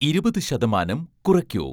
ഇരുപത് ശതമാനം കുറയ്ക്കൂ